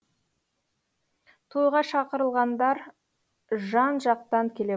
тойға шақырылғандар жан жақтан келе